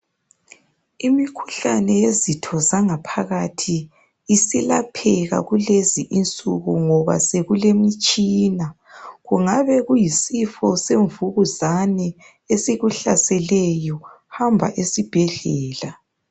Imikhuhlane yezitho zanagaphakathi isilapheka kulezi insuku ngoba sekulemitshina. Kungabe kuyisifo semvukuzane esikuhlaseleyo, hamba esibhedlela.